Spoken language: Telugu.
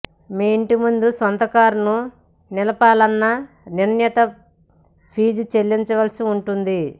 మీ ఇంటి ముందు సొంత కారును నిలుపాలన్నా నిర్ణీత ఫీజు చెల్లించ వలసి ఉంటుంది